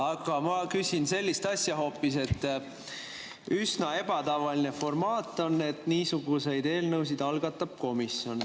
Aga ma küsin sellist asja hoopis, et üsna ebatavaline formaat on, et niisuguseid eelnõusid algatab komisjon.